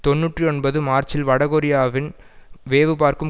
தொன்னூற்றி ஒன்பது மார்ச்சில் வடகொரியாவின் வேவுபார்க்கும்